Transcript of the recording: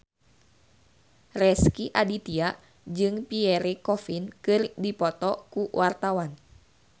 Rezky Aditya jeung Pierre Coffin keur dipoto ku wartawan